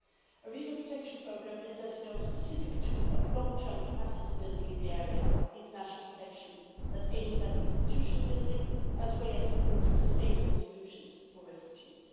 A regional protection programme is, as you know, a specific tool of long term capacity building in the area of international protection that aims at institution building as well as supporting sustainable solutions for refugees.